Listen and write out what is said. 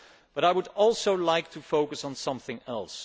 But I would also like to focus on something else.